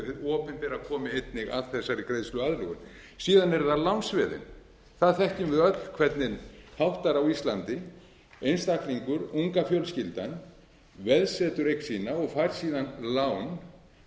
opinbera komi einnig að þessari greiðsluaðlögun síðan eru það lánsveðin þar þekkjum við öll hvernig háttar á íslandi einstaklingur unga fjölskyldan veðsetur eign sína og fær síðan lán